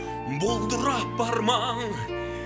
бұлдырап бар маң